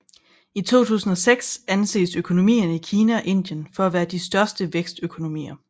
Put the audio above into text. Fra 2006 anses økonomierne i Kina og Indien for at være de største vækstøkonomier